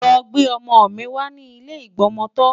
Lọ gbé ọmọ mi wá ní ilé ìgbọmọtọ́!